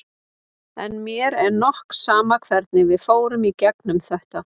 En mér er nokk sama hvernig við fórum í gegnum þetta.